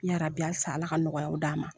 Yaarabi halisa ala ka nɔgɔyaw d'a ma.